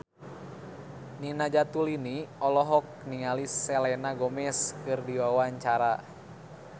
Nina Zatulini olohok ningali Selena Gomez keur diwawancara